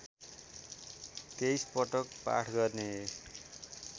२३ पटक पाठ गर्ने